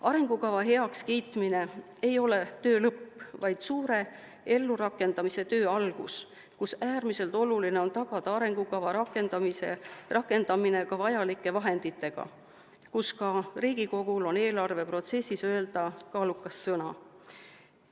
Arengukava heakskiitmine ei ole töö lõpp, vaid suure ellurakendamise töö algus, kus äärmiselt oluline on tagada arengukava rakendamiseks vajalikud vahendid, kus ka Riigikogul on eelarve protsessis öelda kaalukas sõna.